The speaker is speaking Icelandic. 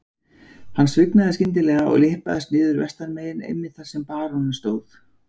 Hann svignaði skyndilega og lyppaðist niður vestanmegin einmitt þar sem baróninn stóð.